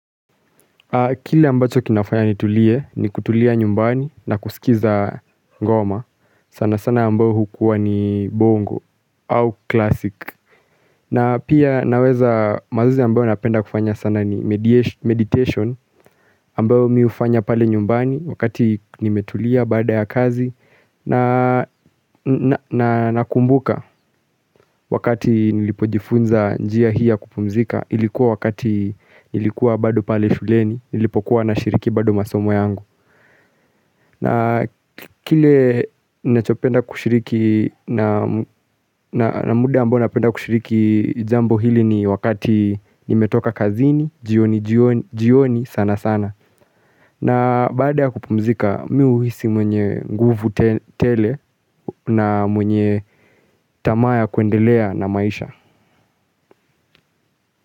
Kile ambacho kinafanya nitulie ni kutulia nyumbani na kusikiza ngoma. Sana sana ambao hukuwa ni bongo au klasik. Na pia naweza mazuzi ambao napenda kufanya sana ni meditation. Ambao miufanya pale nyumbani wakati nimetulia baada ya kazi. Na nakumbuka wakati nilipojifunza njia hia kupumzika. Ilikuwa wakati nilikuwa bado pale shuleni Nilipokuwa na shiriki bado masomo yangu na kile nachopenda kushiriki na muda ambao napenda kushiriki jambo hili ni wakati nimetoka kazini jioni sana sana na baada ya kupumzika Miuhisi mwenye nguvu tele na mwenye tamaa ya kuendelea na maisha.